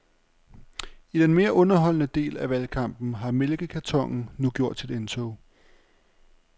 I den mere underholdende del af valgkampen har mælkekartonen nu gjort sit indtog.